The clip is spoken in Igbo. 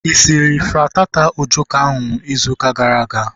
Ị sịrị frittata ojoko ahu izu ụka gara aga?